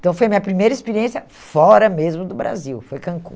Então, foi a minha primeira experiência fora mesmo do Brasil, foi Cancún.